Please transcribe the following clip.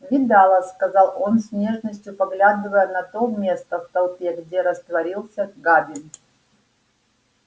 видала сказал он с нежностью поглядывая на то место в толпе где растворился габин